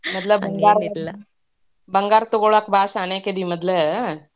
ಮೊದ್ಲ, ಬಂಗಾರ ಬಂಗಾರ ತುಗೋಳ್ಳಾಕ್ ಭಾಳ್ ಶಾಣೇಕದಿ ಮೊದ್ಲ.